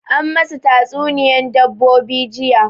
An masu ta tsuniya dabbobi jiya